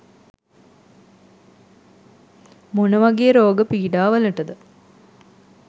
මොන වගේ රෝග පීඩාවලටද?